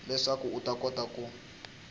leswaku u ta kota ku